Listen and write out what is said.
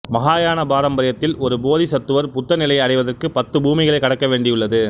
மஹாயான பாரம்பரியத்தில் ஒரு போதிசத்துவர் புத்தநிலையை அடைவதற்குப் பத்துப் பூமிகளை கடக்க வேண்டியுள்ளது